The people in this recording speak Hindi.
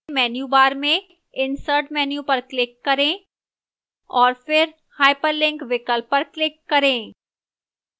menu bar में insert menu पर click करें और फिर hyperlink विकल्प पर click करें